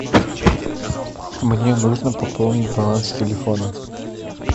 мне нужно пополнить баланс телефона